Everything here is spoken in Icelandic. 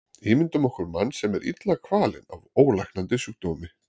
Ímyndum okkur mann sem er illa kvalinn af ólæknandi sjúkdómi.